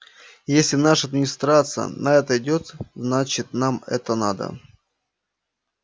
если наша администрация на это идёт значит нам это надо